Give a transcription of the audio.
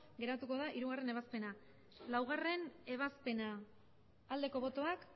geratu da hirugarrena ebazpena laugarrena ebazpena aldeko botoak